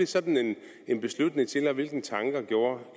sådan beslutning til og hvilke tanker gjorde